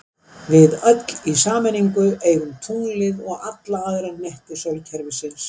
Við öll í sameiningu eigum tunglið og alla aðra hnetti sólkerfisins!